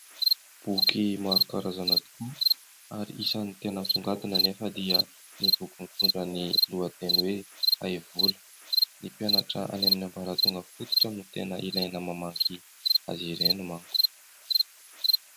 Boky maro karazana tokoa ary isany tena misongadina anefa dia ny boky mitondra ny lohateny hoe " Haivola", ny mpianatra any amin'ny ambara-tonga fototra no tena ilaina mamaky azy ireny manko.